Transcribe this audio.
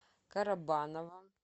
карабаново